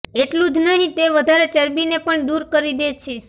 એટલું જ નહીં તે વધારે ચરબીને પણ દૂર કરી દે છે